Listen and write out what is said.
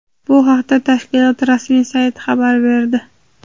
Bu haqda tashkilot rasmiy sayti xabar berdi.